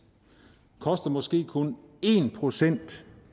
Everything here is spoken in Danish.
koster måske kun en procent